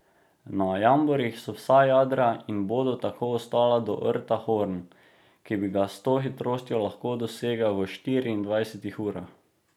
Na jamborih so vsa jadra in bodo tako ostala do rta Horn, ki bi ga s to hitrostjo lahko dosegel v štiriindvajsetih urah.